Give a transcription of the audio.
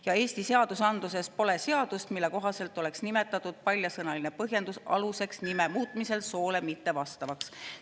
Ja Eesti seadusandluses pole seadust, mille kohaselt oleks nimetatud paljasõnaline põhjendus aluseks nime muutmisel soole mittevastavaks.